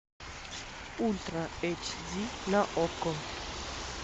ультра эйч ди на окко